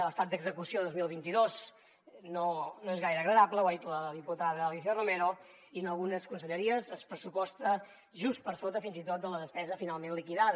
l’estat d’execució del dos mil vint dos no és gaire agradable ho ha dit la diputada alícia romero i en algunes conselleries es pressuposta just per sota fins i tot de la despesa finalment liquidada